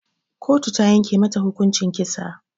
Kotu ta yanke mata hukuncin kisa